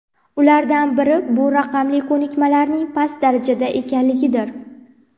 Ulardan biri bu raqamli ko‘nikmalarning past darajada ekanligidir.